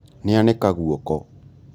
Nĩanĩka guoko